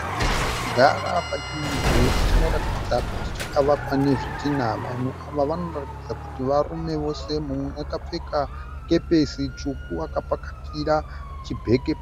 Vanhu vakagara pachimudhuri chinoratidza kuti chakavakwa nezvidhinha vanhu ava vanoratidza kuti varume vose mumwe akapfeka kepesi tsvuku akapakatira chibheke